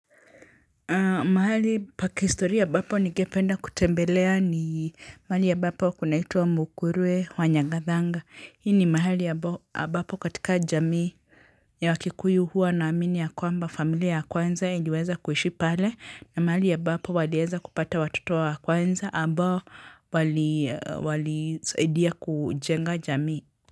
Mahali pa kihistoria ambapo nigependa kutembelea ni mahali ambapo kuna itwa mukurwe wa nyagathanga. Hii ni mahali ambapo katika jamii ya wakikuyu huwa inaamini ya kwamba familia ya kwanza iliweza kuishi pale na mahali ambapo waliweza kupata watoto wa kwanza ambao wali saidia kujenga jamii.